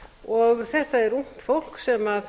og þetta er ungt fólk sem